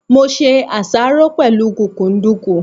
Mo ṣe àṣáró pẹ̀lú kúkúǹdùkú.